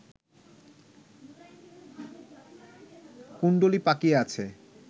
কুন্ডলী পাকিয়ে আছে